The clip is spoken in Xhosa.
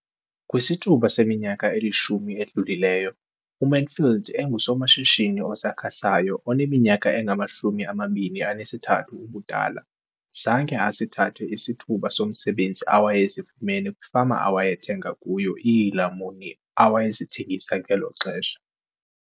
Kwisithuba seminyaka elishumi edlulileyo, uMansfield engusomashishini osakhasayo oneminyaka engama-23 ubudala, zange asithathe isithuba somsebenzi awayesifumana kwifama awayethenga kuyo iilamuni awayezithengisa ngelo xesha.